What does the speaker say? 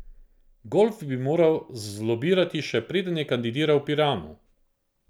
Golf bi moral zlobirati še preden je kandidiral v Piranu.